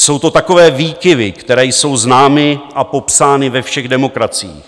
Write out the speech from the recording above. Jsou to takové výkyvy, které jsou známy a popsány ve všech demokraciích.